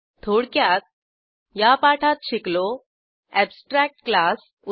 थोडक्यात या पाठात शिकलो अॅबस्ट्रॅक्ट क्लास उदा